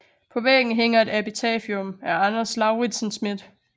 På væggen hænger et epitafium af Anders Lauritzen Smith